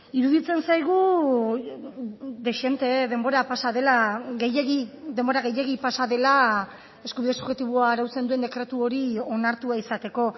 iruditzen zaigu dezente denbora pasa dela gehiegi denbora gehiegi pasa dela eskubide subjektiboa arautzen duen dekretu hori onartua izateko